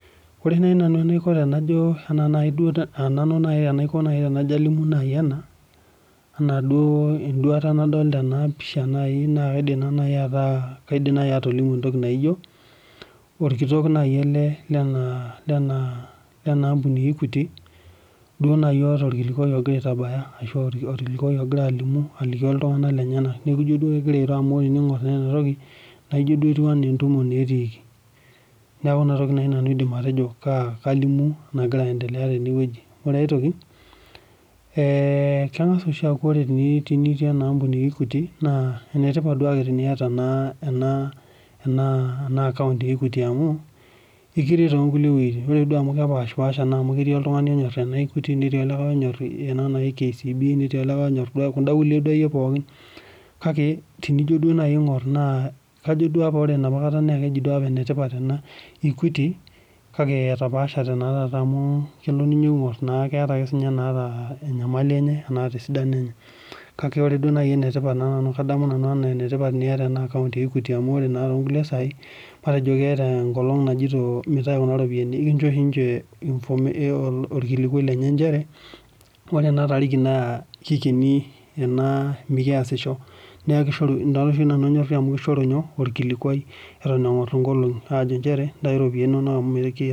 Ore naaji nanu enaiko tenalimu ena enduata nadolita ena pisha naa kajo orkitok naaji ele Lena ambuni ee equity najii otaa orkilikuai ogira aitabaya ashu orkilikuai ogira aliki iltung'ana lenyena amu tening'or ena toki naijio entumo etikii neeku enatoki naaji nanu aidim atejo kalimu naagira aendelea tenewueji ore aitoki keng'as oshi akuu tenitii enaa ambuni eee equity naa enitipat niata ena account ee equity amu ekiret too nkulie wuejitin ore amu kepashaa duo onyor kuda kulie pookin kake ore apa naa keji enetipat equity kake etapashe naa taata amu kelo enakata enyamali enye wenataa esidano enye kake kadamu nanu ena enetipat niata ena account ee equity matejo keeta enkolog najoito Entau Kuna ropiani ekinjo oshi ninche orkilikuai lenye nchere ore ena tariki naa kikeni ena mikiasisho neeku ena oshi nanu anymore amu kishoru orkilikuai Eton eng'or enkologi njeere ntai ropiani enono Eton eng'or enkologi